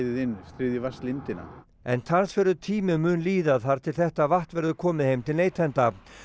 inn þriðju vatnslindina en talsverður tími mun líða þar til þetta vatn verður komið heim til neytenda